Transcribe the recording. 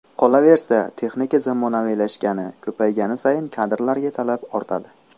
Qolaversa, texnika zamonaviylashgani, ko‘paygani sayin kadrlarga talab ortadi.